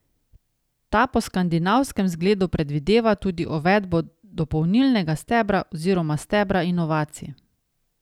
Ta po skandinavskem zgledu predvideva tudi uvedbo dopolnilnega stebra oziroma stebra inovacij.